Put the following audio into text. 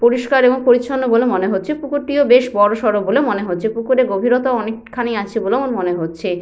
পরিষ্কার এবং পরিছন্ন বলে মনে হচ্ছে। পুকুরটিও বেশ বড়সর বলে মনে হচ্ছে। পুকুরের গভীরতা অনেকখানি আছে বলেও আমার মনে হচ্ছে।